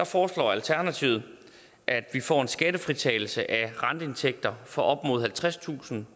foreslår alternativet at vi får en skattefritagelse af renteindtægter for op imod halvtredstusind